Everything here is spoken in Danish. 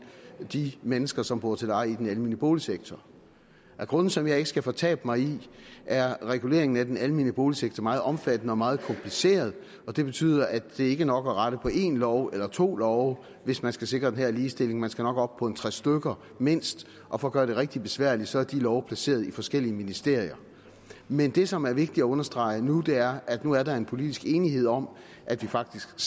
de mennesker som bor til leje i den almene boligsektor af grunde som jeg ikke skal fortabe mig i er reguleringen af den almene boligsektor meget omfattende og meget kompliceret det betyder at det ikke er nok at rette i en lov eller to love hvis man skal sikre den her ligestilling man skal nok op på en tre stykker mindst og for at gøre det rigtig besværligt er de love placeret i forskellige ministerier men det som det er vigtigt at understrege nu er at der nu er en politisk enighed om at vi faktisk